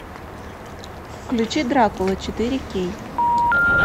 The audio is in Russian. включи дракула четыре кей